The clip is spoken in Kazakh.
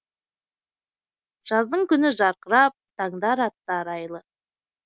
жаздың күні жарқырап таңдар атты арайлы